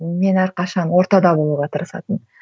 мен әрқашан ортада болуға тырысатынмын